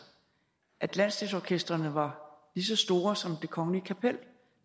at landsdelsorkestrene var lige så store som det kongelige kapel det